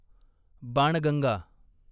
Banganga